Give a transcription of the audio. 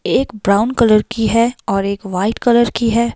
एक brown colour की है और एक वाइट कलर की है।